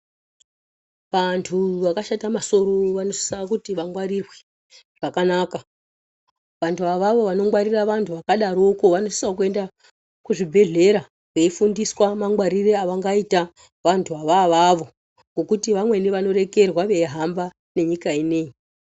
Antu vakashata masoro vanosise kuti vangwarirwe zvakanaka. Vantu avavo vanongwarira vantu vakadaroko vanosisewo kuenda kuzvibhedhlera veifundiswa mangwaririre avangaita vantu vantuvo avavo ngekuti vamweni vanorekerwa veihamba nenyika inei.